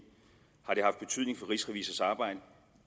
har det haft betydning for rigsrevisors arbejde